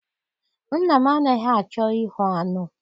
Nna m anaghị achọ ihu aṅụ.